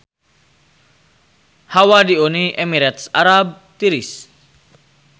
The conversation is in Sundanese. Hawa di Uni Emirat Arab tiris